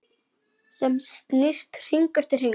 Sem snýst hring eftir hring.